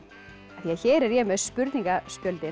því hér er ég með